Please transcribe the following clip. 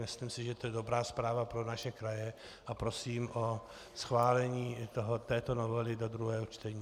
Myslím si, že to je dobrá zpráva pro naše kraje, a prosím o schválení této novely do druhého čtení.